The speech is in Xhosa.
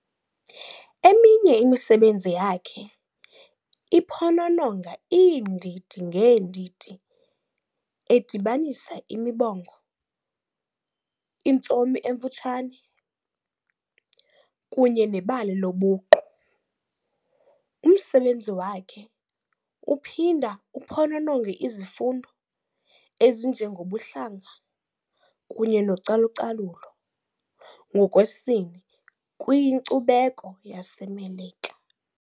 Eminye imisebenzi yakhe iphonononga iindidi ngeendidi, edibanisa imibongo, intsomi emfutshane, kunye nebali lobuqu. Umsebenzi wakhe uphinda uphonononge izifundo ezinjengobuhlanga kunye nocalucalulo ngokwesini kwinkcubeko yaseMelika.